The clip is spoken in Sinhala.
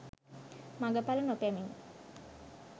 මඟඵල නොපැමිණි